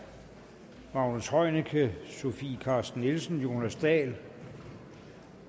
magnus heunicke sofie carsten nielsen jonas dahl